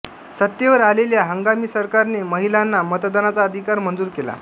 सत्तेवर आलेल्या हंगामी सरकारने महिलांना मतदानाचा अधिकार मंजूर केला